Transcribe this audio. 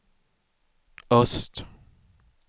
öst